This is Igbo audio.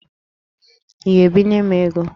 Ị ga-ebinye m ego?